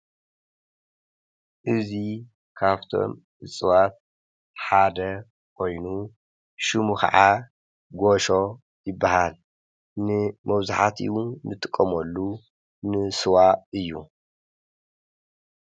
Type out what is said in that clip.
እዚ ካብቶም እፅዋት ሓደ ኮይኑ ሹሙ ከዓ ጌሾ ይበሃል። ንመብዛሕቲኡ እንጥቀመሉ ንስዋ እዩ።